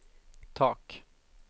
tak